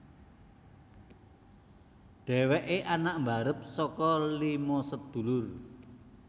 Dhèwèké anak mbarep saka lima sedulur